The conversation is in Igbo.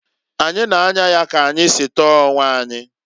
Anyi na-anya ya ka anyi si tọọ onwe anyị.